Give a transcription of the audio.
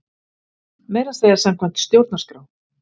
Meira að segja samkvæmt stjórnarskrá!